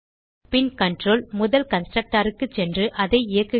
பின் control முதல் constructor க்கு சென்று அதை இயக்குகிறது